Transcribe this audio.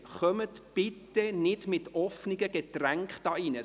Bringen Sie bitte keine offenen Getränke in den Saal.